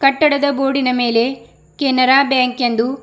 ಕಟ್ಟಡದ ಗೋಡಿನ ಮೇಲೆ ಕೆನರಾ ಬ್ಯಾಂಕ್ ಎಂದು--